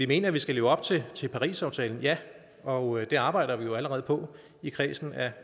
mener at vi skal leve op til til parisaftalen ja og det arbejder vi jo allerede på i kredsen